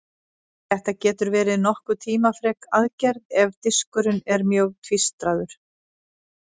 Þetta getur verið nokkuð tímafrek aðgerð ef diskurinn er mjög tvístraður.